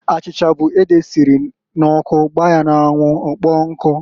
Achicha bu ede esiri n'ọkụ gbaa ya n'anwụ ọkpọọ nkụ.